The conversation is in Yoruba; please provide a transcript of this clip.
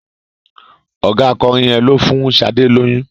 Ọ̀gá akọrin yẹn ló fún Sadé lóyún.